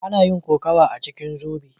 Ana yin kokawa a cikin zobe.